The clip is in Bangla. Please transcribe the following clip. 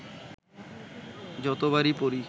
যতবারই পড়ি